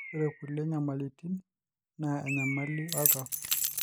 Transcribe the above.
ore kulie nyamalitin naa enyamali oltau